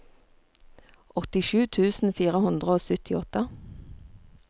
åttisju tusen fire hundre og syttiåtte